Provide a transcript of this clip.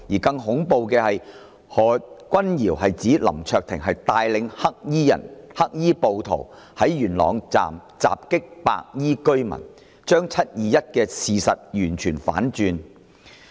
更恐怖的是，何君堯議員指是林卓廷議員帶領黑衣人、黑衣暴徒於元朗站襲擊白衣居民，將"七二一"的事實完全反轉。